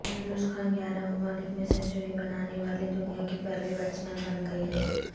یونس خان گیارہ ممالک میں سنچری بنانے والے دنیا کے پہلے بیٹسمین بن گئے ہیں